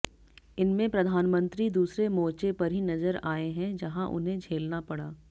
इनमें प्रधानमंत्री दूसरे मोर्चे पर ही नजर आए हैं जहां उन्हें झेलना पड़ा